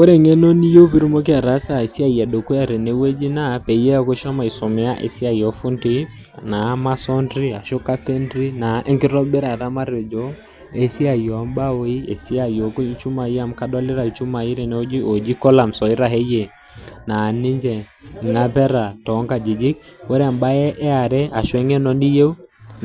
Ore engeno niyieu pee itumoki ataasa esiai ee dukuya tenewueji naa peyie eeku ishomo aisomea esiai oo fundii naa masonry ashua carpentry ashua enkitobirata esiai oombaoi esiai oolchumai amu kadolita lchumai tenewueji ooji columns oitasheyie naa ninche ngapeta too nkajijik ore embae eare